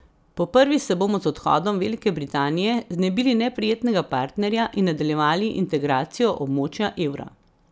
Po prvi se bomo z odhodom Velike Britanije znebili neprijetnega partnerja in nadaljevali integracijo območja evra.